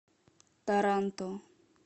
таранто